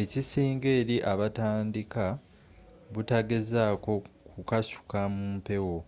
ekisinga eri abatandika butagezako kukasuka mumpewo